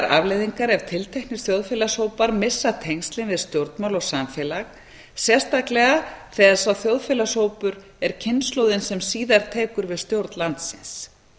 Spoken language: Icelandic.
afleiðingar ef tilteknir þjóðfélagshópar missa tengslin við stjórnmál og samfélag sérstaklega þegar sá þjóðfélagshópur er kynslóðin sem síðar tekur við stjórn landsins